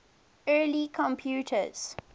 early computers